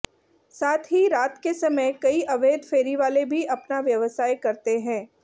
साथ ही रात के समय कई अवैध फेरीवाले भी अपना व्यवसाय करते है